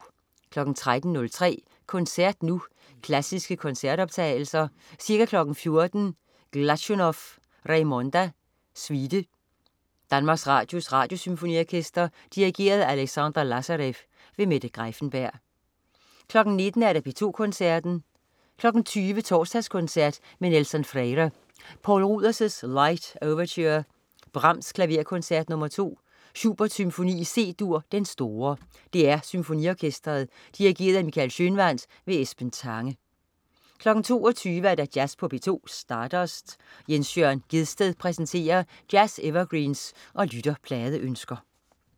13.03 Koncert Nu. Klassiske koncertoptagelser. Ca. 14.00 Glazunov: Raymonda, suite. DR Radiosymfoniorkestret. Dirigent: Alexandre Lazarev. Mette Greiffenberg 19.00 P2 Koncerten. 20.00 Torsdagskoncert med Nelson Freire. Poul Ruders: Light Overture. Brahms: Klaverkoncert nr. 2. Schubert: Symfoni i C-dur, Den store. DR Symfoniorkestret. Dirigent: Michael Schønwandt. Esben Tange 22.00 Jazz på P2. Stardust. Jens Jørn Gjedsted præsenterer jazz-evergreens og lytterpladeønsker